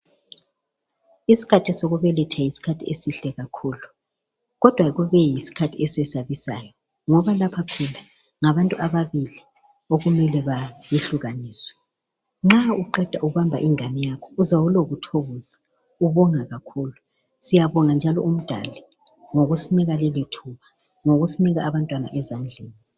Isikhathi sokubeletha yisikhathi esihle kakhulu, kodwa kube yisikhathi esesabisayo. Ngoba lapha phela ngabantu ababili okumele behlukaniswe. Nxa uqeda ukuhamba ingane yakho ,uzwa ulokuthokoza, ubonga kakhulu. Siyabonga njalo uMdali, ngokusinika leli thuba, ngokusinika abantwana ezandleni.